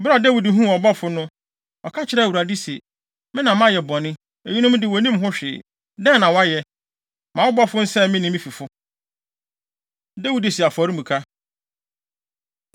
Bere a Dawid huu ɔbɔfo no, ɔka kyerɛɛ Awurade se, “Me na mayɛ bɔne. Eyinom de wonnim ho hwee, dɛn na wɔayɛ? Ma wo bɔfo nsɛe me ne me fifo.” Dawid Si Afɔremuka